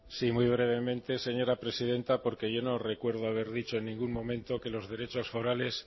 sí muy brevemente señora presidenta porque yo no recuerdo haber dicho en ningún momento que los derechos forales